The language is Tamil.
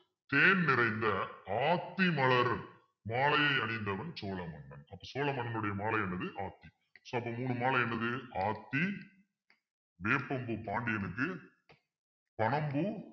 தேன் நிறைந்த ஆத்தி மலர் மாலையை அணிந்தவன் சோழ மன்னன் சோழ மன்னனுடைய மாலையானது ஆகும் so அப்போ மூணு மாலை என்னது ஆத்தி வேப்பம்பூ பாண்டியனுக்கு பனம் பூ